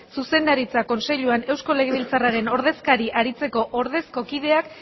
zuzendaritza kontseiluko eusko legebiltzarraren ordezkari aritzeko ordezko kideak